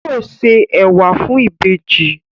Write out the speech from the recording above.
Yóò ṣe ẹwà fún ìbejì